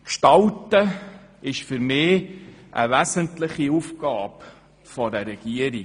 Das Gestalten gehört für mich zu den wesentlichen Aufgaben einer Regierung.